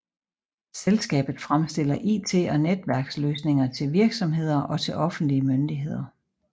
Selskabet fremstiller IT og netværksløsninger til virksomheder og til offentlige myndigheder